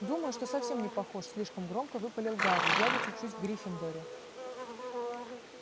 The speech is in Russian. думаю что совсем не похож слишком громко выпалил гарри я ведь учусь в гриффиндоре